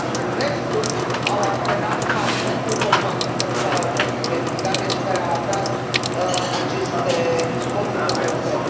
Dar restul au antrenat falimentul companiilor care au fost investigate și care au atras aceste fonduri europene.